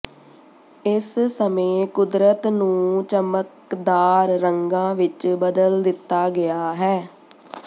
ਇਸ ਸਮੇਂ ਕੁਦਰਤ ਨੂੰ ਚਮਕਦਾਰ ਰੰਗਾਂ ਵਿੱਚ ਬਦਲ ਦਿੱਤਾ ਗਿਆ ਹੈ